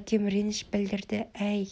әкем реніш білдірді әй